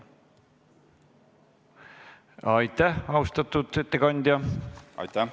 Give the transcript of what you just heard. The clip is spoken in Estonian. Aitäh, austatud ettekandja!